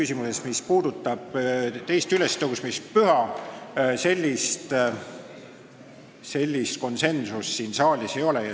Selles, mis puudutab teist ülestõusmispüha, siin saalis sellist konsensust ei ole.